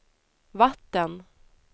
vatten